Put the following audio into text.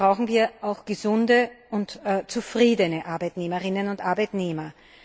Deshalb brauchen wir auch gesunde und zufriedene Arbeitnehmerinnen und Arbeitnehmer.